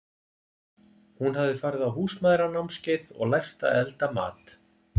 Hún hafði farið á Húsmæðranámskeið og lært að elda mat.